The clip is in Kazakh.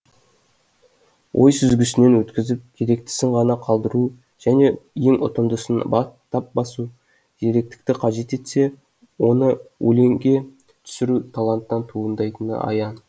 ой сүзгісінен өткізіп керектісін ғана қалдыру және ең ұтымдысын тап басу зеректікті қажет етсе оны өлеңге түсіру таланттан туындайтыны аян